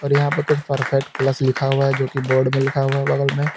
और यहां पर कुछ परफेक्ट प्लस लिखा हुआ है जोकि बोर्ड पे लिखा हुआ है बगल में।